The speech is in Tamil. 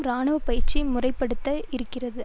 இராணுவ பயிற்சியை முறை படுத்த இருக்கிறது